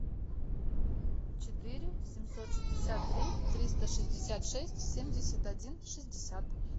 четыре семьсот шестьдесят три триста шестьдесят шесть семьдесят один шестьдесят